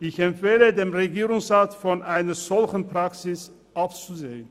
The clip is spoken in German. Ich empfehle dem Regierungsrat, von einer solchen Praxis abzusehen.